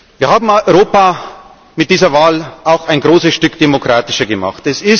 Wir haben Europa mit dieser Wahl auch ein großes Stück demokratischer gemacht.